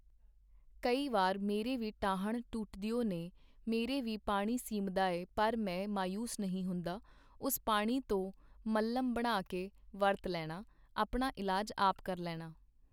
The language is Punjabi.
ਕਈ ਵਾਰ ਮੇਰੇ ਵੀ ਟਾਹਣ ਟੁੱਟਦਿਓ ਨੇ, ਮੇਰੇ ਵੀ ਪਾਣੀ ਸਿੰਮਦਾ ਏ ਪਰ ਮੈਂ ਮਾਯੂਸ ਨਹੀ ਹੁੰਦਾ , ਉਸ ਪਾਣੀ ਤੋ ਮਲ੍ਹਮ ਬਣਾ ਕੇ ਵਰਤ ਲੈਨਾ, ਆਪਣਾ ਇਲਾਜ ਆਪ ਕਰ ਲੈਨਾ .